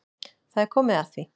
Það er komið að því.